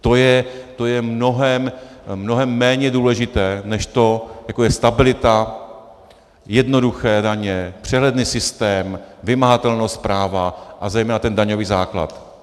To je mnohem méně důležité než to, jaká je stabilita, jednoduché daně, přehledný systém, vymahatelnost práva a zejména ten daňový základ.